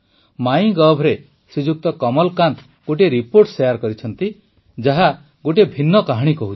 ମାଇଁଗଭ୍ରେ ଶ୍ରୀଯୁକ୍ତ କମଲ୍କାନ୍ତ ଗୋଟିଏ report share କରିଛନ୍ତି ଯାହା ଗୋଟିଏ ଭିନ୍ନ କାହାଣୀ କହୁଛି